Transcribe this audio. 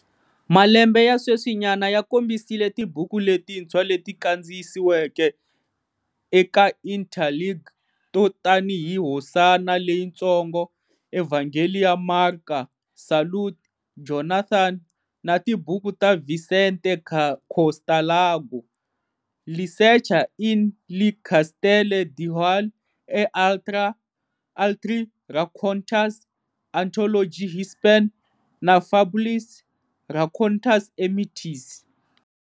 Malembe ya sweswinyana ya kombisile tibuku letintshwa leti kandziyisiweke eka Interlingue to tanihi Hosana Leyitsongo, Evhangeli ya Marka, Salute, Jonathan!, na tibuku ta Vicente Costalago-Li sercha in li castelle Dewahl e altri racontas, Antologie hispan, na Fabules, racontas e mites.